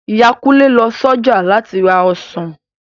Ìyá Kunle lọ s'ọjà láti ra ọsàn